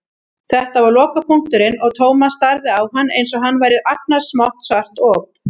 Þetta var lokapunkturinn og Thomas starði á hann einsog hann væri agnarsmátt svart op.